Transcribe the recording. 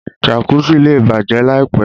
Jàkùsí lẹ́ bájẹ láìpẹ̀.